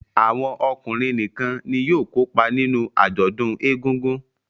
Awọn ọkunrin nìkàn ní yóò kópa nínú ajọdun ègùngùn